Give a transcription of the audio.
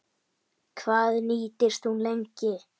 Hvað nýtist hún lengi?